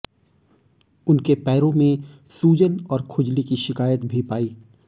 उनके पैरों में सूजन और खुजली की शिकायत भी पाई